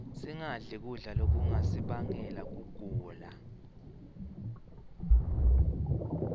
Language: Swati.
singadli kudla lokungasibangela kugula